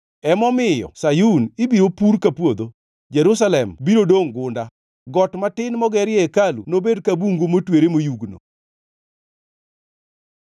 Emomiyo Sayun ibiro pur ka puodho, Jerusalem biro dongʼ gunda, got matin mogerie hekalu nobed ka bungu motwere moyugno.